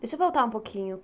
Deixa eu voltar um pouquinho.